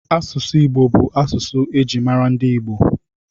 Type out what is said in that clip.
Asụsụ Igbo bụ asụsụ e ji mara ndị Igbo